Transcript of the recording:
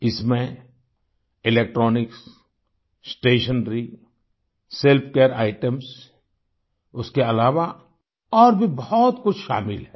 इसमें electronics stationery self care items उसके अलावा और भी बहुत कुछ शामिल हैं